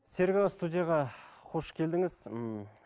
серік аға студияға қош келдіңіз м